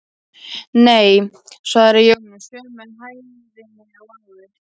Nei, svaraði Jón með sömu hægðinni og áður.